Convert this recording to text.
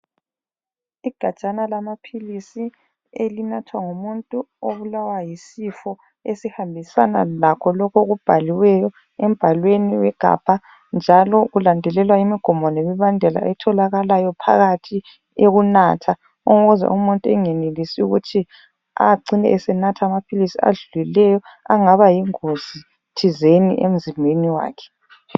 Igajana lamaphilisi elinathwa ngumuntu obulawa yisifo esihambisana lakho lokhu okubhaliweyo embhalweni wegabha njalo ulandelelwa imigomo lemibandela etholakalayo phakathi eyokunatha ukuze umuntu bengenelisi ukuthi acine esenatha amaphilisi adluleleyo angaba yingozi thizeni emzimbeni wakhe.